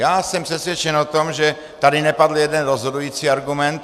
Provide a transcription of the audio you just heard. Já jsem přesvědčen o tom, že tady nepadl jeden rozhodující argument.